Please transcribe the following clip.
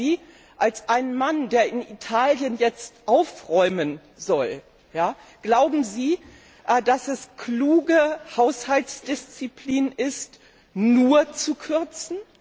Glauben Sie als ein Mann, der in Italien jetzt aufräumen soll, dass es kluge Haushaltsdisziplin ist, nur zu kürzen?